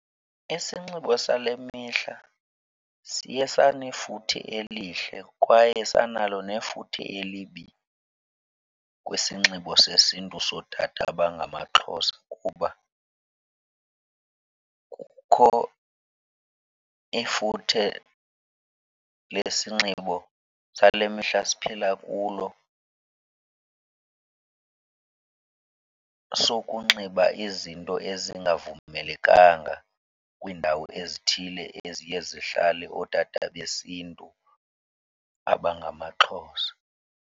Isinxibo sale mihla siye sanefuthe elihle kwaye sanalo nefuthe elibi kwisinxibo sesiNtu sootata abangamaXhosa kuba kukho ifuthe lesinxibo sale mihla siphila kulo sokunxiba izinto ezingavumelekanga kwiindawo ezithile eziye zihlale ootata besiNtu abangamaXhosa.